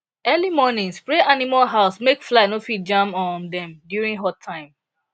early morning spray animal house make fly no fit jam um dem during hot time